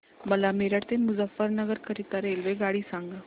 मला मेरठ ते मुजफ्फरनगर करीता रेल्वेगाडी सांगा